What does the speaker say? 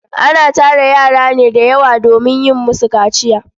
Ana tara yara ne da yawa domin yin musu kaciya.